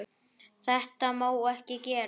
Þetta má ekki gerast.